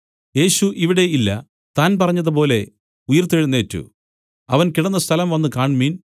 യേശു ഇവിടെ ഇല്ല താൻ പറഞ്ഞതുപോലെ ഉയിർത്തെഴുന്നേറ്റു അവൻ കിടന്ന സ്ഥലം വന്നുകാണ്മിൻ